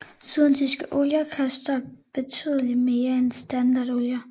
Syntetiske olier koster betydeligt mere end standardolier